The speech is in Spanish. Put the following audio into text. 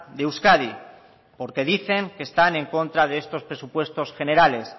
de euskadi porque dicen que están en contra de estos presupuestos generales